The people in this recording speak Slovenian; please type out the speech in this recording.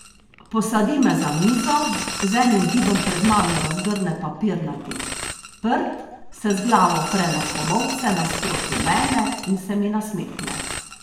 Posadi me za mizo, z enim gibom pred mano razgrne papirnati prt, se z glavo opre na komolce nasproti mene in se mi nasmehne.